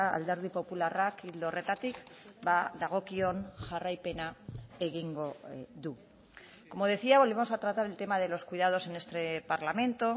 alderdi popularrak ildo horretatik dagokion jarraipena egingo du como decía volvemos a tratar el tema de los cuidados en este parlamento